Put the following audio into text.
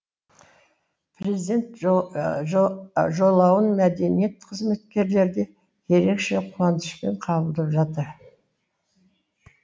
президент жолауын мәдениет қызметкерлері де ерекше қуанышпен қабылдап жатыр